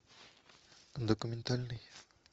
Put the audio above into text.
документальный